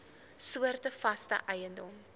soorte vaste eiendom